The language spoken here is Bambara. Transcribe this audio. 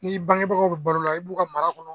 N'i bangebagaw baro la i b'u ka mara kɔnɔ.